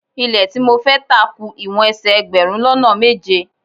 Ilẹ́ tí mo fẹ́ tà ku ìwọ̀n ẹsẹ̀ ẹgbẹ̀rún lọ́nà méje.